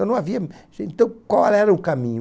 E não havia... Então, qual era o caminho?